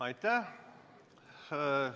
Aitäh!